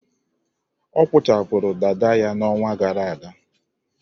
Ọ kpụchapụrụ dada ya n'ọnwa gara aga.